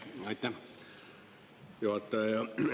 Aitäh, juhataja!